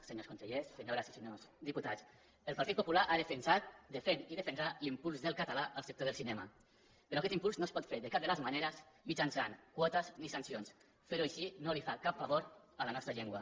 senyors consellers senyores i senyors diputats el partit popular ha defensat defensa i defensarà l’impuls del català en el sector del cinema però aquest impuls no es pot fer de cap de les maneres mitjançant quotes ni sancions fer ho així no li fa cap favor a la nostra llengua